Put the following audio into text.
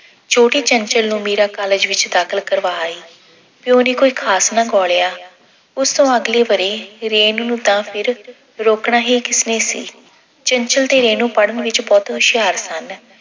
ਛੋਟੀ ਚੰਚਲ ਨੂੰ ਮੀਰਾ college ਵਿੱਚ ਦਾਖਲ ਕਰਵਾ ਆਈ। ਪਿਓ ਨੇ ਕੋਈ ਖਾਸ ਨਾ ਗੌਲਿਆ ਉਸਤੋਂ ਅਗਲੇ ਵਰ੍ਹੇ ਰੇਨੂੰ ਨੂੰ ਤਾਂ ਫਿਰ ਰੋਕਣਾ ਹੀ ਕਿਸਨੇ ਸੀ। ਚੰਚਲ ਤੇ ਰੇਨੂੰ ਪੜ੍ਹਨ ਵਿੱਚ ਬਹੁਤ ਹੁਸ਼ਿਆਰ ਸਨ।